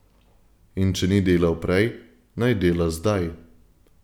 In če ni delal prej, naj dela zdaj.